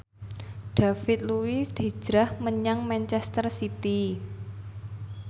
David Luiz hijrah menyang manchester city